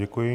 Děkuji.